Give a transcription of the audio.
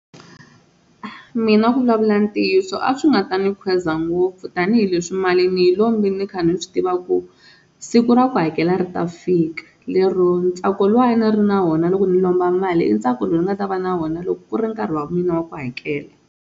Mina ku vulavula ntiyiso a swi nga ta ni khweza ngopfu tanihileswi mali ni hi lombi ni kha ni ni swi tiva ku siku ra ku hakela ri ta fika lero ntsako luwa a ni ri na wona loko ni lomba mali i ntsako lowu ni nga ta va na wona loko ku ri nkarhi wa mina wa ku hakela.